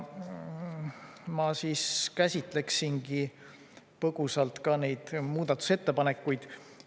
Ma käsitleksingi põgusalt neid muudatusettepanekuid.